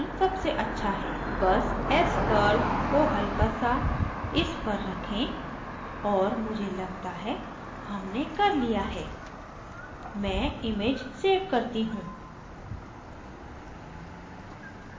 बस s curve को हल्का सा इस पर रखें और मुझे लगता है हमने कर लिया है मैं image so करती हूँ